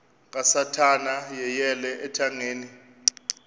kasathana yeyele ethangeni